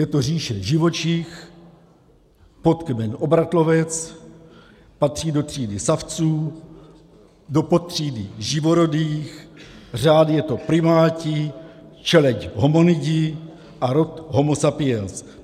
Je to říše živočich, podkmen obratlovec, patří do třídy savců, do podtřídy živorodých, řád je to primáti, čeleď hominidi a rod homo sapiens.